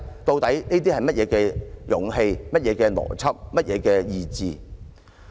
這究竟是甚麼勇氣、甚麼邏輯、甚麼意志？